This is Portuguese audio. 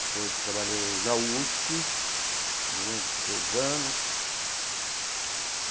Depois trabalhei na USP durante dois anos.